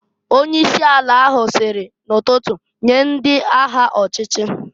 Onye isi ala ahụ siri n'ụtụtụ, "Nye ndị agha ọchịchị!"